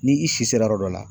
Ni i si sera yɔrɔ dɔ la